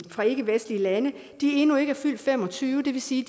fra ikkevestlige lande endnu ikke er fyldt fem og tyve og det vil sige